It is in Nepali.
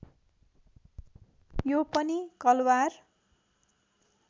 यो पनि कलवार